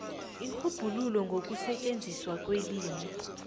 irhubhululo ngokusetjenziswa kwelimi